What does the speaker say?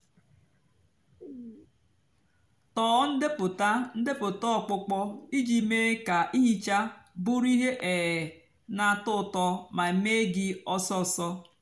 tọọ ndepụta ndepụta ọkpụkpọ íjì mée kà íhíchá bụrụ íhè um nà-àtọ útọ mà mée gị ósósó.